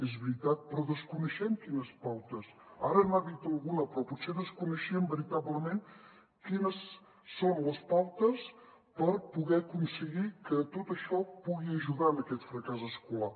és veritat però desconeixem quines pautes ara n’ha dit alguna però potser desconeixíem veritablement quines són les pautes per poder aconseguir que tot això pugui ajudar en aquest fracàs escolar